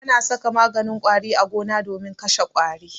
Ana saka maganin ƙwari a gona domin kashe ƙwari.